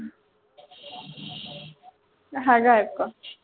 ਹੈਗਾ ਇਕ